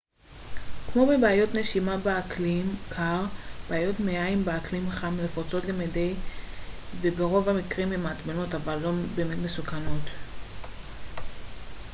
כמו בבעיות נשימה באקלים קר בעיות מעיים באקלים חם נפוצות למדי וברוב המקרים הן מעצבנות אבל לא באמת מסוכנות